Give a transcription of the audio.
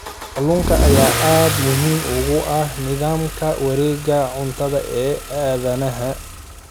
Kalluunka ayaa aad muhiim ugu ah nidaamka wareegga cuntada ee aadanaha.